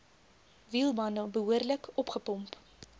wielbande behoorlik opgepomp